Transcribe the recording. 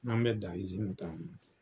An mɛ dan ta